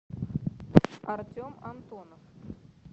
артем антонов